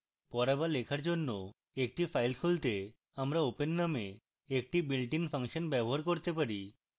পড়া to লেখার জন্য একটি file খুলতে আমরা open নামে একটি built in ফাংশন ব্যবহার করতে পারি